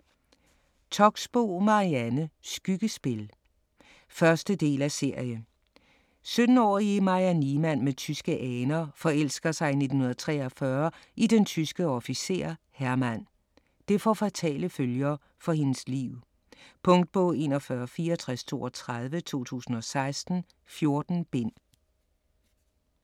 Toxboe, Marianne: Skyggespil 1. del af serie. 17-årige Maja Niemann med tyske aner forelsker sig i 1943 i den tyske officer Hermann. Det får fatale følger for hendes liv. Punktbog 416432 2016. 14 bind.